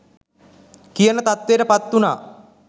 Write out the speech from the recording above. කියන තත්වයට පත්වුනා.